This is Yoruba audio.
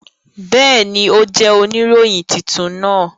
Bẹẹni, o jẹ onirohin tuntun naa.